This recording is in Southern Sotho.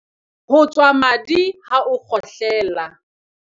Ho tswa madi ha o kgohle la.